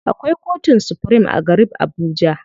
Akwai kotun supirim a garib Abuja.